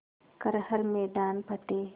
कर हर मैदान फ़तेह